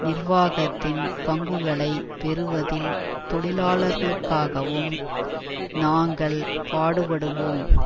நிர்வாகத்தின் பங்குகளை பெறுவதில் தொழிலாளர்களுக்காகவும் நாங்கள் பாடுபடுவோம்